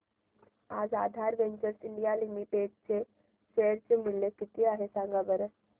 आज Aadhaar ventures India limited चे share चे मूल्य किती आहे सांगा बरं